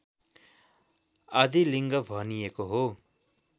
आदिलिङ्ग भनिएको हो